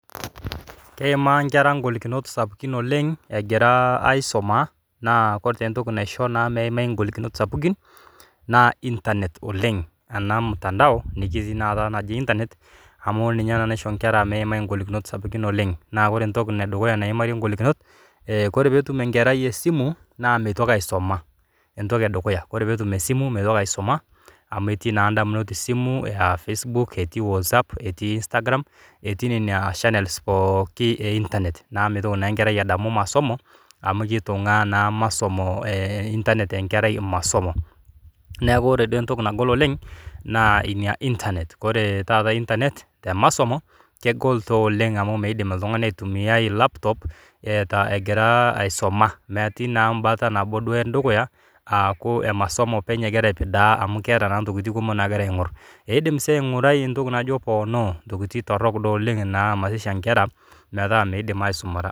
Keimaa nkera ngolikinot sapukin oleng egira aisuma, naa kore taa entoki naisho naa meimai ngolikinot sapukin naa internet oleng ana mutandao najii sii taata internet amu ninye naa naisho nkera meimai ngolikinot sapukin oleng. Naa kore entoki edukuya naimarie ngolikinot, kore peetum enkerai esimu naa meitoki aisuma, entoki edukuya kore peetum esimu meitoki aisuma amu etii naa indamunot esimu aa facebook[cs[ etii whatsapp etii instagram etii nenia shanels pooki e internet naaku meitoki naa nkerai adamu emasomo amu keitung'aa naa masomo internet enkerai masomo. Neaku ore duo entoku nagol oleng naa inia [cs[ internet. Koree taata internet temasomo kegolto oleng amu meidim oltungani aitumiyai laputop egira aisuma. Metii naa imbata nabo duo endukuya, aaku emasomo openy ake duo egira atidaa amu keeta naa ntokitin kumok naagira aing'or. Eidim sii aing'urai ntoki naji ponoo, ntokitin torok duo oleng naa marisha inkera mataa meidim aisumata.